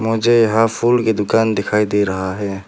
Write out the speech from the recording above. मुझे यहां फूल की दुकान दिखाई दे रहा है।